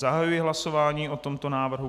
Zahajuji hlasování o tomto návrhu.